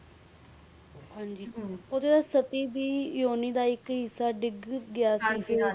ਜੀ ਜੀ ਉੜਦੂ ਸਤੀ ਸੀ ਓਣ ਦਾ ਇਕ ਹਿੱਸਾ ਡਿਗ ਗਯਾ ਸੀ